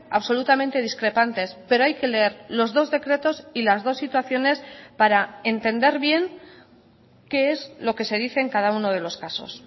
absolutamente discrepantes pero hay que leer los dos decretos y las dos situaciones para entender bien qué es lo que se dice en cada uno de los casos